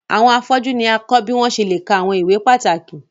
Awọn afọju ni a kọ bi wọn ṣe le kà awọn ìwé pàtàkì